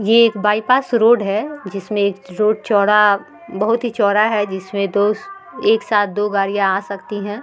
ये एक bypass road है जिसमें रोड चौड़ा बहुत ही चौड़ा है जिसमें दो एक साथ दो गाड़ियाँ आ सकती हैं।